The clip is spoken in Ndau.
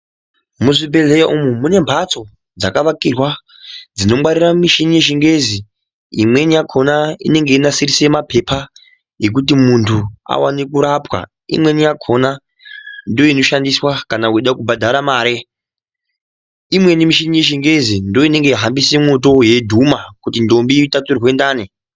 Muzvibhehleya umwu munembatso dzakavakirwa dzinongwarira michini yechingezi imweni yakona inenge yeinasirise mapepa ekuti muntu awane kurapwa ,imweni yakona ndoinoshandiswa kana weida kubhadhara mare. lmweni michini yechingezi ndoinohambise mwoto yeidhudhuma kuti ndombi itaturwe ndani.